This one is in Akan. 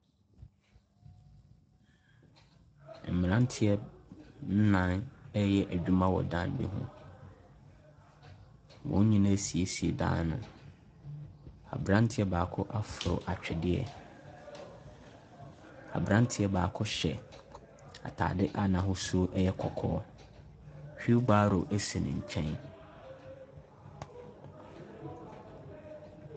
Mmeranteɛ nnan ɛreyɛ adwuma wɔ dan bi ho, wɔn nyinaa ɛresiesie dan no. Aberanteɛ baako aforo atwedeɛ, aberanteɛ baako hyɛ ataadeɛ a n’ahosuo yɛ kɔkɔɔ, wheel barrow si ne nkyɛn.